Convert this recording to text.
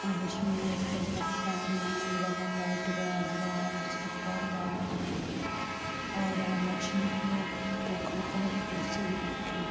और इसमें ऊपर लगता लम्बे वाला लाइट गया हुआ है | उसका पोल गाड़ा हुआ है और यहाँ मछली के पर एक कुर्सी भी रखी है ।